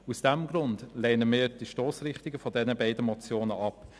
Aus diesem Grund lehnen wir die Stossrichtung der beiden Motionen ab.